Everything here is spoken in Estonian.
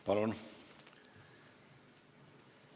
Palun!